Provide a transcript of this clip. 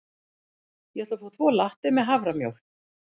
Ég ætla að fá tvo latte með haframjólk.